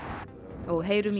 og heyrum í